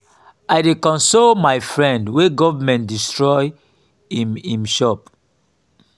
i dey console my friend wey government destroy im im shop.